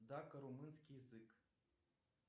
дако румынский язык